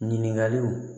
Ɲininkaliw